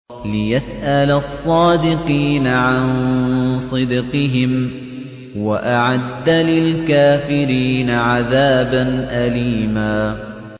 لِّيَسْأَلَ الصَّادِقِينَ عَن صِدْقِهِمْ ۚ وَأَعَدَّ لِلْكَافِرِينَ عَذَابًا أَلِيمًا